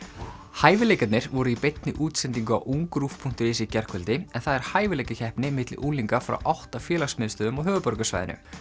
hæfileikarnir voru í beinni útsendingu á UngRÚV punktur is í gærkvöldi en það er hæfileikakeppni milli unglinga frá átta félagsmiðstöðvum á höfuðborgarsvæðinu